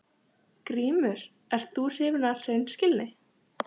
GRÍMUR: Ert þú hrifinn af hreinskilni?